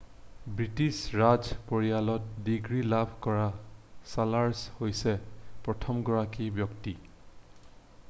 British ৰাজ পৰিয়ালত degree লাভ কৰা চাৰ্লছ হৈছে প্ৰথমগৰাকী ব্যক্তি